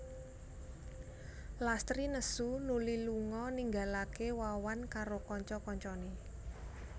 Lastri nesu nuli lunga ninggalaké Wawan karo kanca kancané